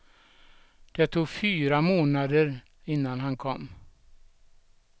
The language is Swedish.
Det tog fyra månader innan han kom.